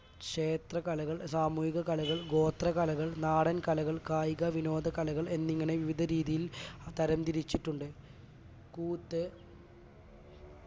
ക്ഷേത്ര കലകൾ സാമൂഹിക കലകൾ, ഗോത്രകലകൾ നാടൻ കലകൾ കായിക വിനോദകലകൾ എന്നിങ്ങനെ വിവിധ രീതിയിൽ തരംതിരിച്ചിട്ടുണ്ട് കൂത്ത്